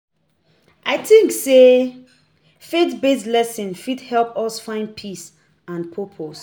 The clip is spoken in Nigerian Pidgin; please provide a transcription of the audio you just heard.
I tink sey faith-based lessons fit help us find peace and purpose